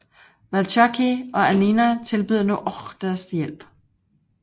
Valzacchi og Annina tilbyder nu Ochs deres hjælp